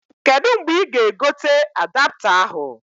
Kedu mgbe ị ga-egote adapta ahụ?